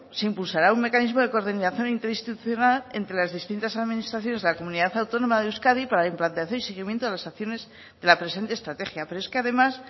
se impulsará un mecanismo de coordinación interinstitucional entre las distintas administraciones de la comunidad autónoma de euskadi para la implantación y seguimiento de las acciones de la presente estrategia pero es que además